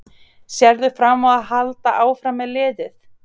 Sérðu fram á að halda áfram með liðið?